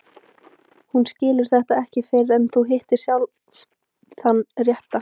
Þú skilur þetta ekki fyrr en þú hittir sjálf þann rétta.